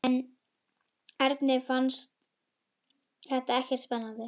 En Erni fannst þetta ekkert spennandi.